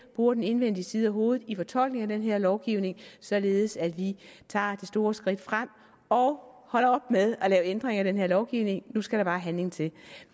bruger den indvendige side af hovedet i fortolkningen af den her lovgivning således at vi tager det store skridt frem og holder op med at lave ændringer i den her lovgivning nu skal der bare handling til